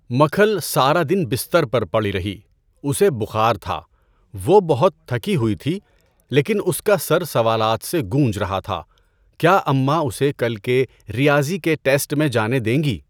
مکھل سارا دن بستر پر پڑی رہی۔ اسے بخار تھا۔ وہ بہت تھکی ہوئی تھی لیکن اس کا سر سوالات سے گونج رہا تھا، کیا اماں اسے کل کے ریاضی کے ٹیسٹ میں جانے دیں گی؟